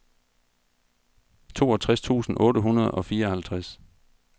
toogtres tusind otte hundrede og fireoghalvtreds